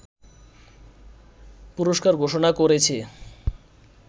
পুরস্কার ঘোষণা করেছে